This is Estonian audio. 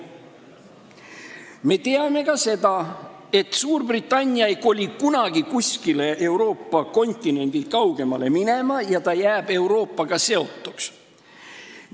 Me teame ka seda, et Suurbritannia ei koli kunagi kuskile kontinendist kaugemale ja ta jääb Euroopaga seotuks.